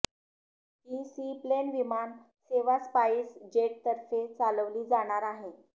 ही seaplane विमान सेवा SpiceJet तर्फे चालवली जाणार आहे